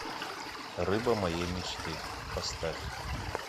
рыба моей мечты поставь